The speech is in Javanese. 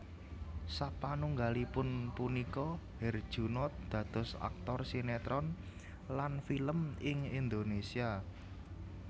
Sapanunggalipun punika Herjunot dados aktor sinetron lan film ing Indonesia